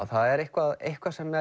það er eitthvað eitthvað sem